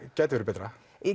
gæti verið betra